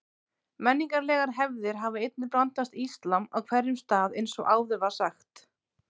Menningarlegar hefðir hafa einnig blandast íslam á hverjum stað eins og áður var sagt.